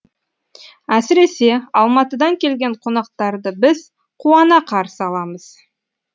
әсіресе алматыдан келген қонақтарды біз қуана қарсы аламыз